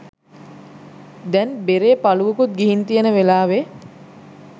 දැන් බෙරේ පලුවකුත් ගිහින් තියෙන වෙලාවේ